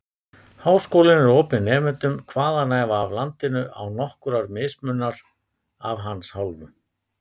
Háskólinn er opinn nemendum hvaðanæva af landinu, án nokkurrar mismununar af hans hálfu.